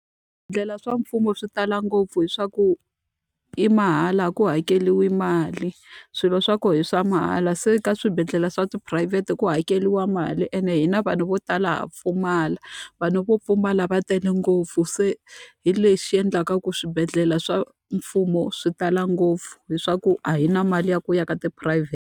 Swibedhlele swa mfumo swi tala ngopfu hileswaku i mahala a ku hakeriwi mali, swilo swa kona i swa mahala. Se ka swibedhlele swa tiphurayivhete ku hakeriwa mali ene hina vanhu vo tala ha pfumala. Vanhu vo pfumala va tele ngopfu se hi lexi endlaka ku swibedhlele swa mfumo swi tala ngopfu. Hileswaku a hi na mali ya ku ya ka tiphurayivhete.